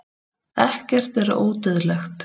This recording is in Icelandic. ekkert er ódauðlegt